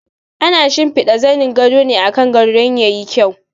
Ana shimfiɗa zanin gado ne akan gado don ya yi kyau.